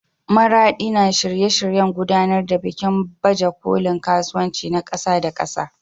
Maraɗi na shirye-shiryen gudanar da bikin baje kolin kasuwanci na ƙasa da ƙasa.